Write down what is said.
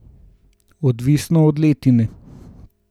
Odvisno od letine.